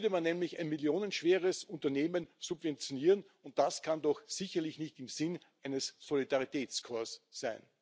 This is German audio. Da würde man nämlich ein millionenschweres Unternehmen subventionieren, und das kann doch sicherlich nicht im Sinne eines Solidaritätskorps sein.